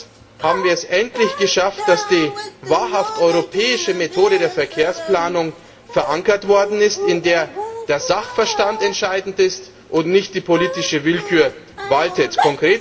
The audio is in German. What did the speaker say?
Erstens haben wir es endlich geschafft, dass die wahrhaft europäische Methode der Verkehrsplanung verankert worden ist, in der der Sachverstand entscheidend ist und nicht die politische Willkür waltet.